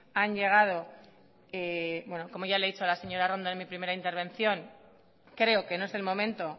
han llegado bueno como ya le he dicho a la señora arrondo en mi primera intervención creo que no es el momento